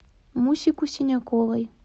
мусику синяковой